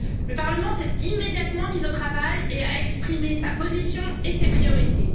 Le Parlement s'est immédiatement mis au travail et a exprimé sa position et ses priorités.